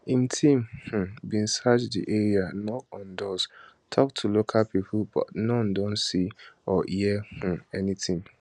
im team um bin search di area knock on doors tok to local pipo but noone don see or hear um anytin